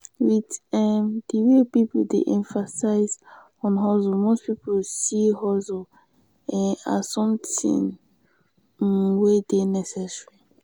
with um di wey pipo dey emphasize on hustle most pipo see hustle um as something um we dey necessary